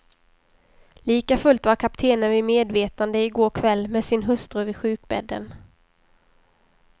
Likafullt var kaptenen vid medvetande i går kväll med sin hustru vid sjukbädden.